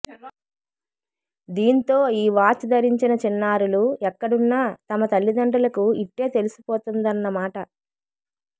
దీంతో ఈ వాచ్ ధరించిన చిన్నారులు ఎక్కడున్నా తమ తల్లిదండ్రులకు ఇట్టే తెలిసిపోతుందన్న మాట